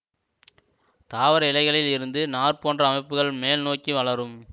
தாவர இலைகளில் இருந்து நார் போன்ற அமைப்புகள் மேல் நோக்கி வளரும்